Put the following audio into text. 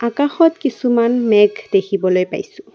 আকাশত কিছুমান মেঘ দেখিবলৈ পাইছোঁ।